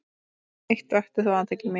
Eitt vakti þó athygli mína.